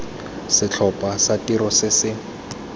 setlhopha sa tiro se se